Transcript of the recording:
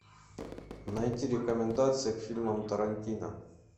найти рекомендации к фильмам тарантино